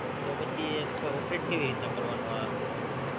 તો પછી એ Operate કેવી રીતે કરવાનું આ આપડે?